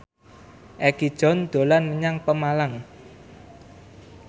Egi John dolan menyang Pemalang